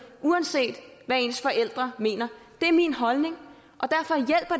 uanset hvad ens forældre mener det er min holdning